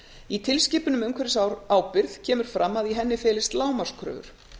í tilskipun um umhverfisábyrgð kemur fram að í henni felist lágmarkskröfur